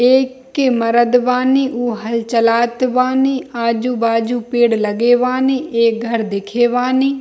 एक के मर्द बानी उ हल चलात बानी आजू-बाजू पेड़ लगे बानी एक घर दिखे बानी।